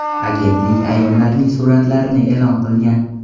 Agentlik ayollarning suratlarini e’lon qilgan.